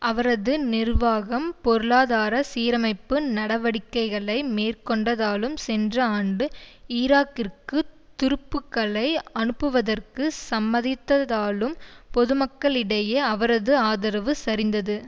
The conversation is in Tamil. அவரது நிர்வாகம் பொருளாதார சீரமைப்பு நடவடிக்கைகளை மேற்கொண்டதாலும் சென்ற ஆண்டு ஈராக்கிற்கு துருப்புக்களை அனுப்புவதற்கு சம்மதித்ததாலும் பொதுமக்களிடையே அவரது ஆதரவு சரிந்தது